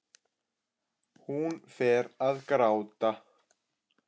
Hún fer að gráta.